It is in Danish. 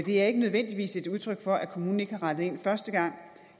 er ikke nødvendigvis et udtryk for at kommunen ikke har rettet ind første gang